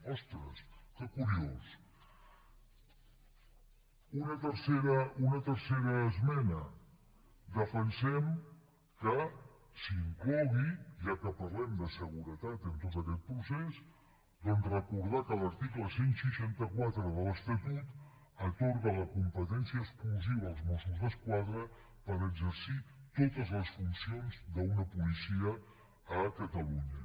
ostres que curiós una tercera esmena defensem que s’inclogui ja que parlem de seguretat en tot aquest procés doncs recordar que l’article cent i seixanta quatre de l’estatut atorga la competència exclusiva als mossos d’esquadra per exercir totes les funcions d’una policia a catalunya